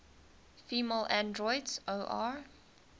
female androids or